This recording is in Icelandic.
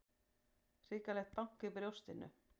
Hrikalegt bank í brjóstinu.